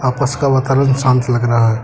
वस का वातावरण शांत लग रहा है।